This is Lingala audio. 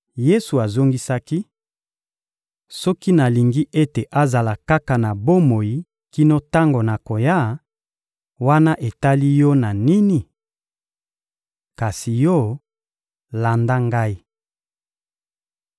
Yesu azongisaki: — Soki nalingi ete azala kaka na bomoi kino tango nakoya, wana etali yo na nini? Kasi yo, landa Ngai.